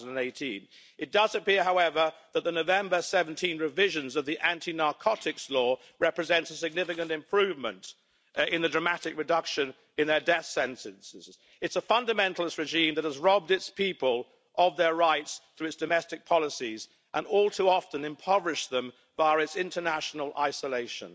2018. It does appear, however, that the November 2017 revision of the anti-narcotics law represents a significant improvement, with a dramatic reduction in death sentences. This is a fundamentalist regime that has robbed its people of their rights through its domestic policies, and has all too often impoverished them via its international isolation.